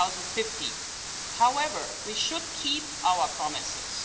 2050. However, we should keep our promises.